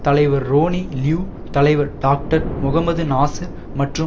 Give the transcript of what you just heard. தலைவர் Ronnie Liu தலைவர் doctor Mohammed Nasser மற்றும்